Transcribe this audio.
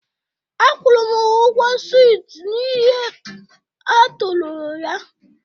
Akwụrụ m ha ụgwọ swit n'ihe ha torolo ya.